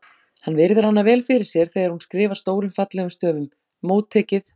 Hann virðir hana vel fyrir sér þegar hún skrifar stórum fallegum stöfum: Móttekið